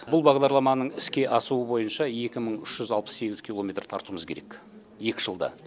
бұл бағдарламаның іске асуы бойынша екі мың үш жүз алпыс сегіз километр тартуымыз керек екі жылда